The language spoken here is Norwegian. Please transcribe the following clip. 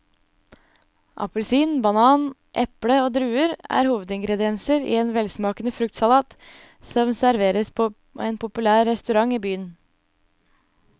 Appelsin, banan, eple og druer er hovedingredienser i en velsmakende fruktsalat som serveres på en populær restaurant i byen.